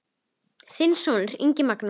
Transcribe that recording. Þinn sonur, Ingi Magnús.